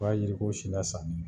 B'a yiri ko si lasa